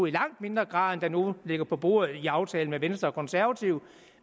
i langt mindre grad der nu ligger på bordet i aftalen med venstre og konservative